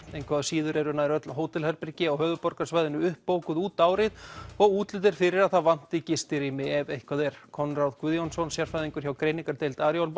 engu að síður eru nær öll hótelherbergi á höfuðborgarsvæðinu uppbókuð út árið og útlit er fyrir að það vanti gistirými ef eitthvað er Konráð Guðjónsson sérfræðingur hjá greiningardeild Arion